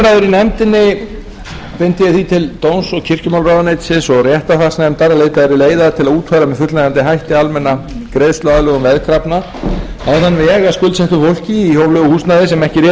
því til dóms og kirkjumálaráðuneytisins og réttarfarsnefndar að leitað yrði leiða til að útfæra með fullnægjandi hætti almenna greiðsluaðlögun veðkrafna á þann veg að skuldsettu fólki í húsnæði sem ekki réði við greiðslubyrði sína yrði